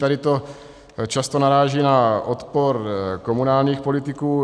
Tady to často naráží na odpor komunálních politiků.